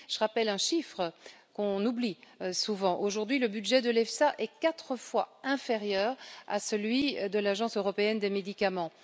Je rappelle un chiffre qu'on oublie souvent aujourd'hui, le budget de l'EFSA est quatre fois inférieur à celui de l'Agence européenne des médicaments.